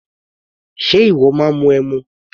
Ṣe ìwọ máa ń mu ẹmu?